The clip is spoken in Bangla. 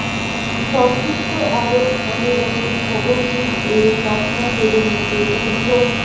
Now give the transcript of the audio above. সংযুক্ত আরব আমিরাতের ভবনটির এ তকমা কেড়ে নিতে দীর্ঘ